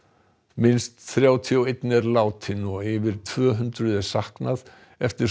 minnst þrjátíu og einn er látinn og yfir tvö hundruð er saknað eftir